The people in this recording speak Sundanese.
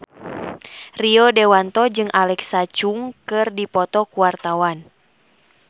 Rio Dewanto jeung Alexa Chung keur dipoto ku wartawan